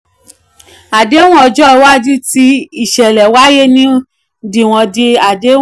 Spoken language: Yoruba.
àdéhùn ọjọ́ iwájú tí ìṣẹ̀lẹ̀ wáyé ni wọ́n di àdéhùn.